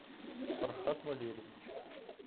фархат валерьевич